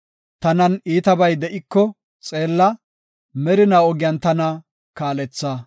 Tanan iitabay de7iko xeella; merina ogiyan tana kaaletha.